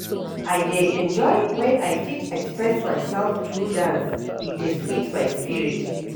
I dey enjoy when I fit express myself through dance, e dey sweet my spirit.